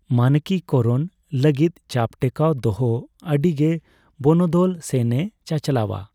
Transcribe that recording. ᱢᱟᱱᱠᱤᱠᱚᱨᱚᱱ ᱞᱟᱹᱜᱤᱫ ᱪᱟᱯ ᱴᱮᱠᱟᱣ ᱫᱚᱦᱚ ᱟᱹᱰᱤ ᱜᱮ ᱵᱚᱱᱚᱫᱚᱞ ᱥᱮᱱ ᱮ ᱪᱟᱪᱞᱟᱣᱼᱟ ᱾